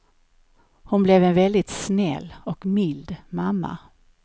Hon blev en väldigt snäll och mild mamma.